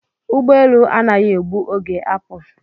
Ụgbọelu anaghị egbu oge apụ